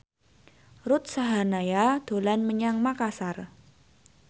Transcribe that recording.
Ruth Sahanaya dolan menyang Makasar